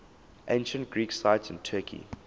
ancient greek sites in turkey